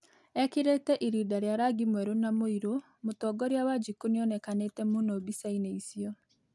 Ekĩrĩte ĩrĩnda rĩa rangĩ mwerũ na mũirũ, mũtongorĩa wanjiku nĩonekanĩte mũno mbicaĩnĩ ĩcĩo